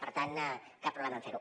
per tant cap problema en fer ho